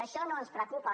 això no ens preocupa